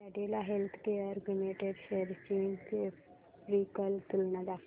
Cadila healthcare limited shares ची graphical तुलना दाखव